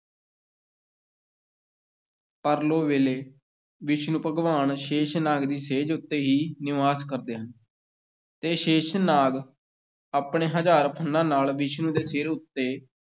ਪਰਲੋ ਵੇਲੇ ਵਿਸ਼ਨੂੰ ਭਗਵਾਨ ਸ਼ੇਸ਼ਨਾਗ ਦੀ ਸੇਜ ਉੱਤੇ ਹੀ ਨਿਵਾਸ ਕਰਦੇ ਹਨ ਅਤੇ ਸ਼ੇਸ਼ਨਾਗ ਆਪਣੇ ਹਜ਼ਾਰ ਫੰਨ੍ਹਾਂ ਨਾਲ ਵਿਸ਼ਨੂੰ ਦੇ ਸਿਰ ਉੱਤੇ